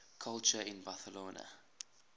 culture in barcelona